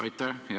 Aitäh!